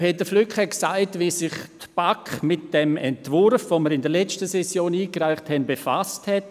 Peter Flück hat gesagt, wie sich die BaK mit dem Entwurf, den wir in der letzten Session einreichten, befasst hat.